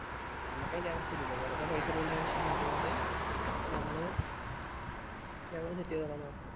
നമക് അയിൻറെ ആവശ്യല്ലാലോ വെറുതെ പൈസ ഇടേണ്ട ആവശ്യല്ലാത്തോണ്ട് നമ്മൾ ഞങ്ങൾ set ചെയ്തോള ന്നു പറഞ്ഞു